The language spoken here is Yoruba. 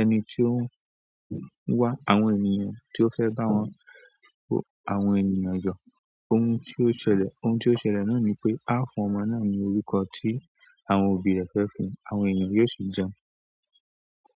Ẹni tí ó ń wá àwọn ènìyàn tí ó fẹ́ bá wọn, àwọn ènìyàn yọ, ohun tí ó ṣẹlẹ̀, ohun tí ó ṣẹlẹ̀ náà ni pé a fún ọmọ náà ní orúkọ tí àwọn òbí rẹ̀ fẹ́ fún un, àwọn èeyàn yóò sì jẹun.